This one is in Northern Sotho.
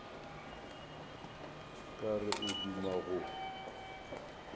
ka re o duma go